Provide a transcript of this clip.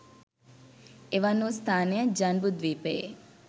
එවන් වූ ස්ථානය ජන්බුද්ධීපයේ